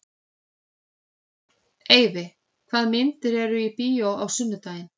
Eyfi, hvaða myndir eru í bíó á sunnudaginn?